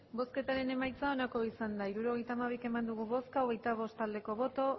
hirurogeita hamabi eman dugu bozka hogeita bost bai